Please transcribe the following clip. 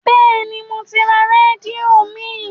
Bẹ́ẹ̀ni, mo ti ra rédíò mìí.